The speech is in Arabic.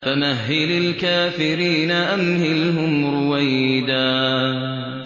فَمَهِّلِ الْكَافِرِينَ أَمْهِلْهُمْ رُوَيْدًا